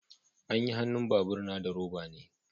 Anyi hannun bar na labur na da roba be.